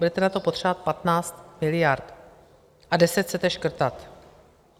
Budete na to potřebovat 15 miliard a 10 chcete škrtat.